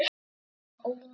Kristín og Ómar.